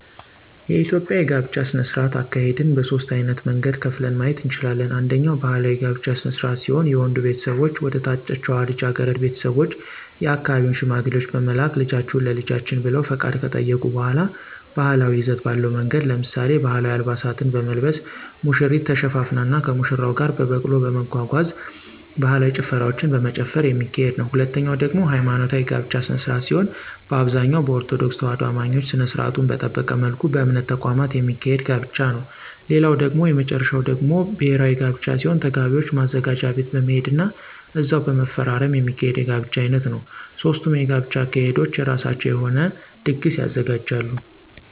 የኢትዮጵያ የጋብቻ ስነ-ስርዓት አካሄድን በሦስት ዓይነት መንገድ ከፍለን ማየት እንችላለን። አንደኛ ባህላዊ የጋብቻ ስነ-ስርዓት ሲሆን የወንዱ ቤተሰቦች ወደ ታጨችዋ ልጃገረድ ቤተሰቦች የአካባቢውን ሽማግሌዎች በመላክ ልጃችሁን ለልጃችን ብለው ፈቃድ ከጠየቁ በሗላ ባህላዊ ይዘት ባለው መንገድ ለምሳሌ፦ ባህላዊ አልባሳትን በመልበስ፣ ሙሽሪት ተሸፋፍና ከሙሽራው ጋር በበቅሎ በመጓጓዝ፣ ባህላዊ ጭፈራዎችን በመጨፈር የሚካሄድ ነዉ። ሁለተኛው ደግሞ ሀይማኖታዊ የጋብቻ ስነ-ስርዓት ሲሆን በአብዛኛው በኦርቶዶክስ ተዋህዶ አማኞች ስነ-ስርዓቱን በጠበቀ መልኩ በእምነት ተቋማት የሚካሄድ ጋብቻ ነዉ። ሌላው እና የመጨረሻው ደግሞ ብሔራዊ ጋብቻ ሲሆን ተጋቢዎች ማዘጋጃ ቤት በመሄድ ና እዛው በመፈራረም የሚካሄድ የጋብቻ ዓይነት ነዉ። ሦስቱም የጋብቻ አካሄዶች የራሳቸው የሆነ ድግስ ያዘጋጃሉ።